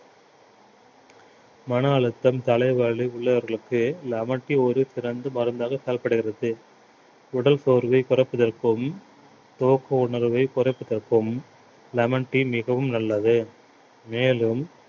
மனஅழுத்தம் தலை வலி உள்ளவர்களுக்கு lemon tea ஒரு சிறந்த மருந்தாக செயல்படுகிறது உடல் சோர்வை குறைப்பதற்கும் தூக்க உணர்வை குறைப்பதற்கும் lemon tea மிகவும் நல்லது மேலும்